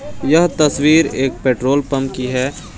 यह तस्वीर एक पेट्रोल पंप की है।